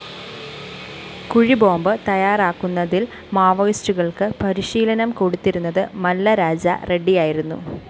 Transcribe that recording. കുഴിബോംബ് തയ്യാറാക്കുന്നതില്‍ മാവോയിസ്റ്റുകള്‍ക്ക് പരിശീലനം കൊടുത്തിരുന്നത് മല്ലരാജ റെഡ്ഡിയായിരുന്നു